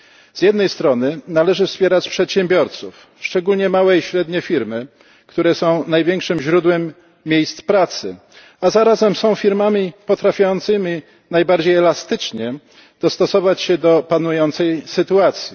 Z jednej strony należy wspierać przedsiębiorców, szczególnie małe i średnie firmy, które są największym źródłem miejsc pracy, a zarazem są firmami potrafiącymi najbardziej elastycznie dostosować się do panującej sytuacji.